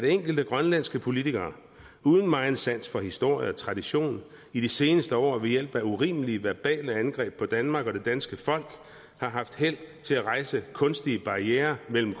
enkelte grønlandske politikere uden megen sans for historie og tradition i de seneste år ved hjælp af urimelige verbale angreb på danmark og det danske folk har haft held til at rejse kunstige barrierer mellem